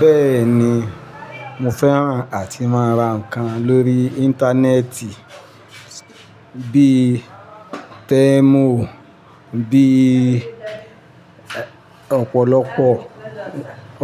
Bẹ́ẹ̀ ni, mo fẹ́ràn àti máa ra nǹkan lórí Íńtánẹ́ẹ̀tì bí i Tèmú, bí i ọ̀pọ̀lọpọ̀,